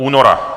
Února?